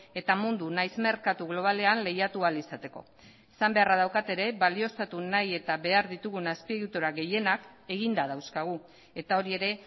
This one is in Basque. eta mundu nahiz merkatu globalean lehiatu ahal izateko esan beharra daukat ere balioztatu nahi eta behar ditugun azpiegitura gehienak eginda dauzkagu eta hori ere